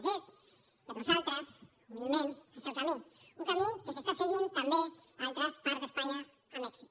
aquest per nosaltres humilment és el camí un camí que s’està seguint també a altres parts d’espanya amb èxit